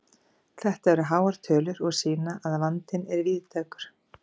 Þetta eru háar tölur og sýna að vandinn er víðtækur.